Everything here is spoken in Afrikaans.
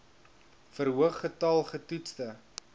verhoog getal getoetste